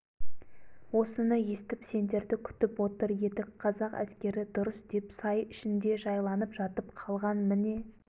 осыны естіп сендерді күтіп отыр едік қазақ әскері дұрыс деп сай ішінде жайланып жатып қалған міне